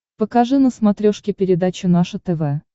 покажи на смотрешке передачу наше тв